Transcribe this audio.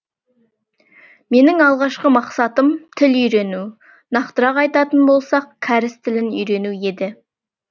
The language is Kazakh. менің алғашқы мақсатым тіл үйрену нақтырақ айтатын болсақ кәріс тілін үйрену еді